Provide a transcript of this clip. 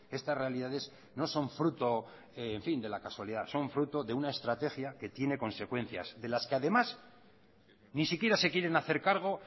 estas realidades no son frutos de la casualidad son fruto de una estrategia que tiene consecuencias de las que además ni siquiera se quieren hacer cargo